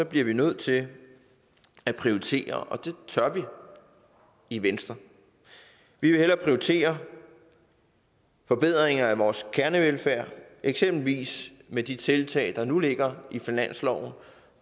bliver vi nødt til at prioritere og det tør vi i venstre vi vil hellere prioritere forbedringer af vores kernevelfærd eksempelvis med de tiltag der nu ligger i finansloven